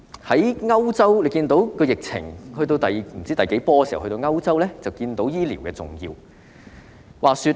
在歐洲疫情不知出現第幾波時，我們便看到醫療的重要性。